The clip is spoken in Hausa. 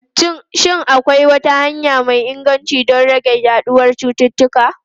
Shin akwai wata hanya mai inganci don rage yaduwar cututtuka?